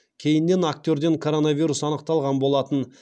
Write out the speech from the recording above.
кейіннен актерден коронавирус анықталған болатын